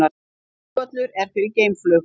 Flugvöllur fyrir geimflug